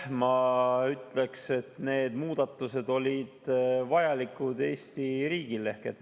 Ma ütleksin, et need muudatused olid Eesti riigile vajalikud.